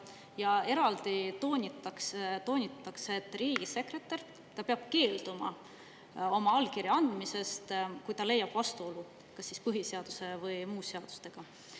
Ja eraldi toonitatakse, et riigisekretär peab keelduma oma allkirja andmisest, kui ta leiab vastuolu põhiseaduse või muude seadustega.